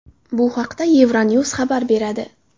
Bu haqda EuroNews xabar beradi.